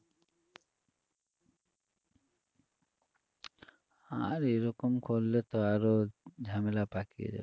আর এরকম করলে তো আরো ঝামেলা পাকিয়ে যায়